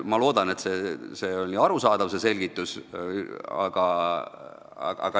Ma loodan, et see selgitus oli arusaadav.